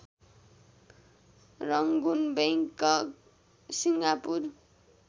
Rangoon Bangkok Singapore